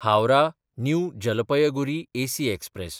Howrah New Jalpaiguri AC express